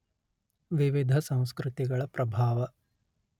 ವಿವಿಧ ಸಂಸ್ಕೃತಿಗಳ ಪ್ರಭಾವ